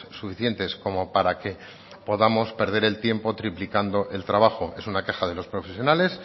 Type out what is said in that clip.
suficientes como para que podamos perder el tiempo triplicando el trabajo es una queja de los profesionales